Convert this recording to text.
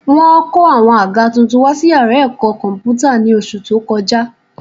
Wọ́n kó àwọn àga tuntun wá sí yàrá ẹ̀kọ́ kọ̀m̀pútà ní oṣù tó kọjá